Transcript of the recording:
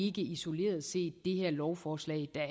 ikke isoleret set det her lovforslag der